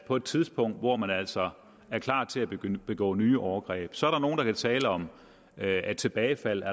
på et tidspunkt hvor man altså er klar til at begå nye overgreb så er der nogle der kan tale om at tilbagefaldet